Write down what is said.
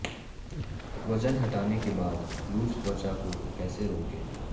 वजन घटाने के बाद लूज त्वचा को कैसे रोकें